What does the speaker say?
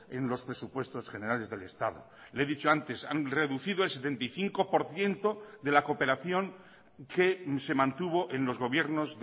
en los presupuestos generales del estado le he dicho antes han reducido el setenta y cinco por ciento de la cooperación que se mantuvo en los gobiernos